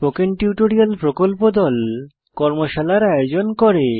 spoken tutorial প্রকল্প দল কর্মশালার আয়োজন করে